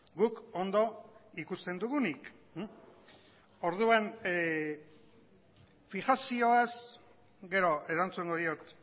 guk ondo ikusten dugunik orduan fijazioaz gero erantzungo diot